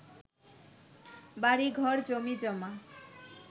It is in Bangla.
বাড়ি ঘর জমিজমা